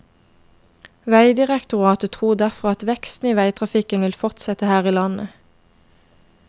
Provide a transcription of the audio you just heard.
Vegdirektoratet tror derfor at veksten i veitrafikken vil fortsette her i landet.